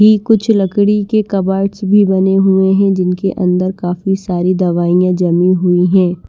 कुछ लकड़ी के कबर्ड्स भी बने हुए हैं जिनके अंदर काफी सारी दवाइयां जमी हुई हैं।